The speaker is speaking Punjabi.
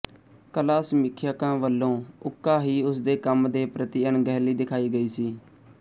ਕਲਾ ਸਮੀਖਿਅਕਾਂ ਵੱਲੋਂ ਉੱਕਾ ਹੀ ਉਸਦੇ ਕੰਮ ਦੇ ਪ੍ਰਤੀ ਅਣਗਹਿਲੀ ਦਿਖਾਈ ਗਈ ਸੀ